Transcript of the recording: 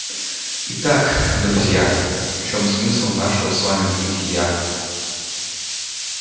итак друзья в чем смысл нашего с вами бытия